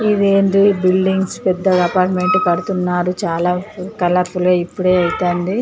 ఇదేందీ buildings పెద్ద apartment పడుతున్నారు. చాలా అసలే ఇప్పుడే అయితాంది.